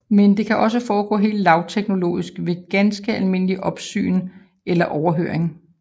Men det kan også foregå helt lavteknologisk ved ganske almindeligt opsyn eller overhøring